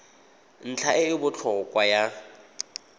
ntlha e e botlhokwa ya